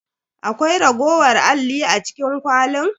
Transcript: Akwai raguwar alli a cikin kwalin?